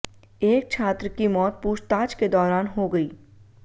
एक छात्र की मौत पूछताछ के दौरान हो गई